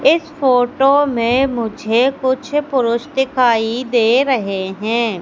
इस फोटो में मुझे कुछ पुरुष दिखाई दे रहे हैं।